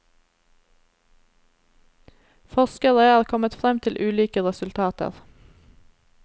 Forskere er kommet frem til ulike resultater.